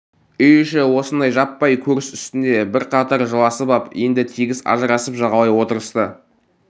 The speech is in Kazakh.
үй іші осындай жаппай көріс үстінде бірқатар жыласып ап енді тегіс ажырасып жағалай отырысты